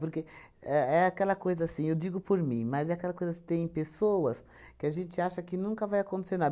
Porque é é aquela coisa assim, eu digo por mim, mas é aquela coisa que tem pessoas que a gente acha que nunca vai acontecer nada.